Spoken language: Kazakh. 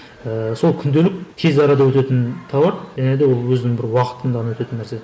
ыыы сол күнделік тез арада өтетін товар және де ол өзінің бір уақытында ғана өтетін нәрсе